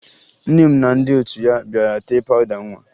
Nne m na ndị otu ya bịara tee pawụda nwa